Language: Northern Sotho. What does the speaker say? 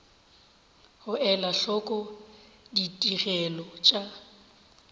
go ela hloko ditigelo tša